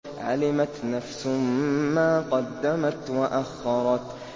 عَلِمَتْ نَفْسٌ مَّا قَدَّمَتْ وَأَخَّرَتْ